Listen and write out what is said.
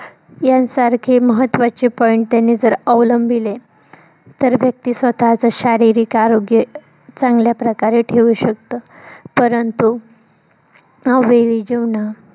यांसारखे महत्वाचे point त्यांनी जर अवलंबिले तर व्यक्ती स्वतःच शारीरिक आरोग्य चांगल्या प्रकारे ठेऊ शकतो. परंतु यावेळी जेवण